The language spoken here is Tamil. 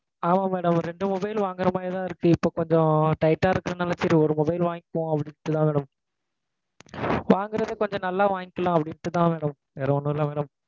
ஆமா madam. ரெண்டு mobile வாங்குற மாதிரி தான் இருக்கு. இப்போ கொஞ்சம் tight ஆ இருக்குறத நெனச்சி, சரி ஒரு mobile வாங்கிக்குவோம், அப்படின்னு சொல்லி வாங்குறேன் madam. வாங்குறது கொஞ்சம் நல்லா வாங்கிக்கலாம் அப்படின்ட்டு தான் madam. வேற ஒன்னும் இல்ல madam.